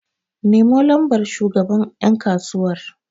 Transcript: Nemo lambar shugaban yankasuwar!